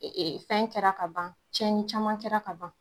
fɛn kɛra ka ban cɛnni caman kɛra ka ban